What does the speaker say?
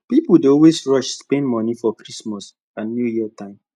people dey always rush spend money for christmas and new year time